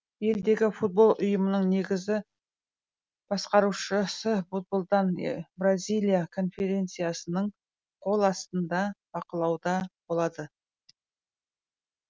елдегі футбол ұйымының негізгі басқарушысы футболдан бразилия конфедерациясының қол астында бақылауда болады